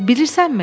Bilirsənmi?